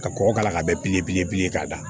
Ka kɔgɔ k'a la k'a bɛn bilen k'a da